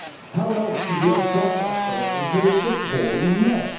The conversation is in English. How else could we have got ourselves into this appalling mess?